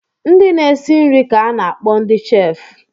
Ndị na-esi nri ka a na-akpọ ndị chef